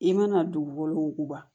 I mana dugukolo wuguba